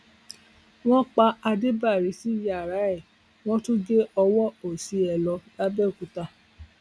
wọn pa ádébárí sí yàrá ẹ wọn tún gé ọwọ òsì ẹ lọ lápbèòkúta